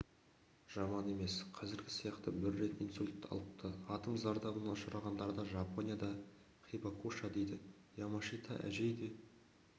жаман емес сияқты бір рет инсульт алыпты атом зардабына ұшырағандарды жапонияда хибакуша дейді ямашита әжей де